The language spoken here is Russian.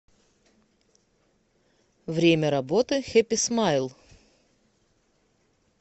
время работы хэпи смайл